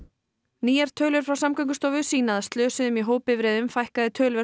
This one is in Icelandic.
nýjar tölur frá Samgöngustofu sýna að slösuðum í hópbifreiðum fækkaði töluvert á